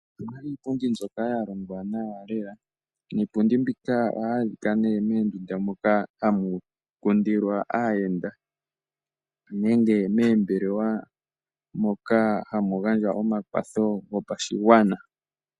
Opu na iipundi mbyoka ya longwa nawa lela, niipundi mboka ohayi adhika moondunda moka hamu kundilwa aayenda nenge moombelewa moka hamu gandjwa omakwatho gopashigwana.